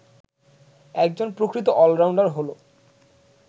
একজন প্রকৃত অলরাউন্ডার হল